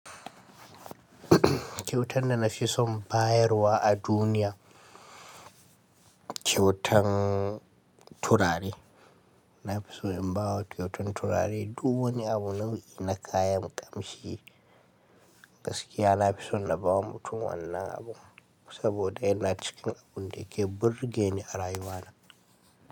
Kyautan da na fi son bayarwa a duniya, kyautan turare. Na fi so in ba wa kyautan turare. Duk wani abu nau'i na kayan kamshi. Gaskiya na fi son na ba wa mutum wannan abu saboda yana cikin abun da ke burge ni a rayuwana.